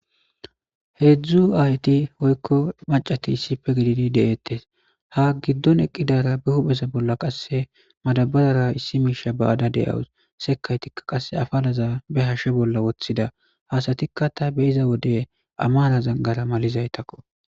Hedzdzu ayoti woyiko Mac,ati de, osona ha gidon eqidara hupheza bolla qasi madabarera issi misha ba,ada dawus sekayidaka qasi afalaza ba hashe bola wotida asatika ta be,iza wode amaraza gara malizako